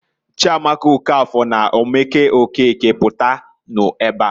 "Chiamaka Okafor na Omeke Okeke, pụtanụ ebeaǃ"